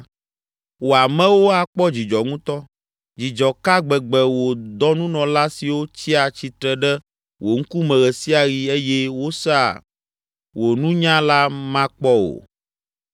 Wò amewo akpɔ dzidzɔ ŋutɔ, dzidzɔ ka gbegbe wò dɔnunɔla siwo tsia tsitre ɖe wò ŋkume ɣe sia ɣi eye wosea wò nunya la makpɔ o!